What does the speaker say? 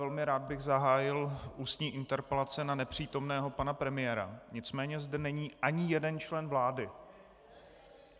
Velmi rád bych zahájil ústní interpelace na nepřítomného pana premiéra, nicméně zde není ani jeden člen vlády.